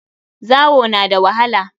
Zawo na da wahala.